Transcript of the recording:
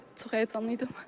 Ona görə çox həyəcanlı idim.